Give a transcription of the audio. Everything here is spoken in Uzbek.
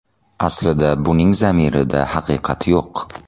Aslida buning zamirida haqiqat yo‘q.